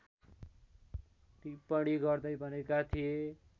टिप्पणी गर्दै भनेका थिए